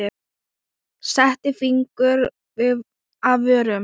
Setti fingur að vörum.